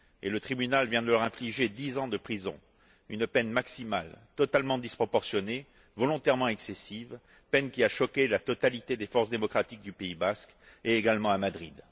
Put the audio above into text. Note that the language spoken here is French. le tribunal vient de leur infliger dix ans de prison, une peine maximale, totalement disproportionnée, volontairement excessive, peine qui a choqué la totalité des forces démocratiques du Pays basque, et également Madrid.